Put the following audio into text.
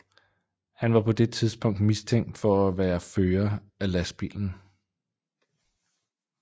Han var på det tidspunkt mistænkt for at være fører af lastbilen